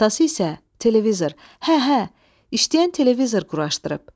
Atası isə televizor, hə-hə, işləyən televizor quraşdırıb.